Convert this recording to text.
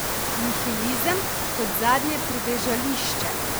Nihilizem kot zadnje pribežališče?